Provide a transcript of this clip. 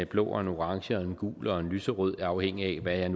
blå og en orange og en gul og en lyserød afhængigt af hvad jeg